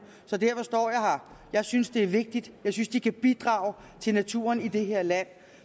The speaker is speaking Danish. så derfor står jeg her jeg synes det er vigtigt jeg synes de kan bidrage til naturen i det her land